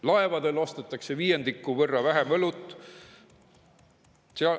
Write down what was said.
Laevadel ostetakse viiendiku võrra vähem õlut.